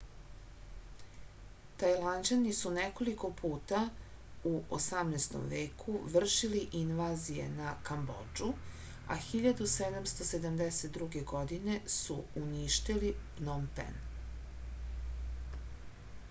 tajlanđani su nekoliko puta u 18. veku vršili invazije na kambodžu a 1772. godine su uništili pnom pen